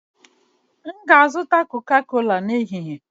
M ga-azụta Coca-cola n'ehihie